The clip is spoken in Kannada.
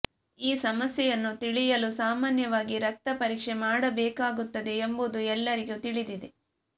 ಈ ಸಮಸ್ಯೆಯನ್ನು ತಿಳಿಯಲು ಸಾಮಾನ್ಯವಾಗಿ ರಕ್ತಪರೀಕ್ಷೆ ಮಾಡಬೇಕಾಗುತ್ತದೆ ಎಂಬುದು ಎಲ್ಲರಿಗೂ ತಿಳಿದಿದೆ